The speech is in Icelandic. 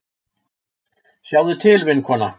Sjáðu til, vinkona.